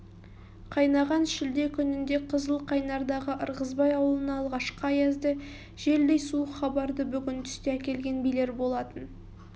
қайнаған шілде күнінде қызыл қайнардағы ырғызбай аулына алғашқы аязды желдей суық хабарды бүгін түсте әкелген билер болатын